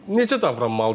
Necə davranmalıdır?